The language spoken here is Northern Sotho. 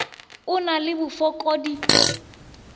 a o na le bofokodi